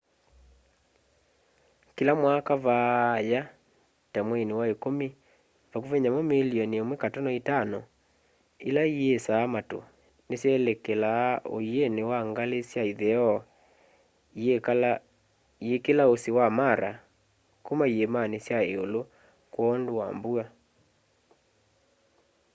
kila mwaka vaaya ta mwaini wa ikumi vakuvi nyamu milioni 1.5 ila iisaa matu nisyelekelaa uini wa ngali sya itheo iikila usi wa mara kuma iimani sya iulu kwoondu wa mbua